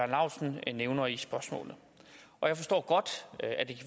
laustsen nævner i spørgsmålet jeg forstår godt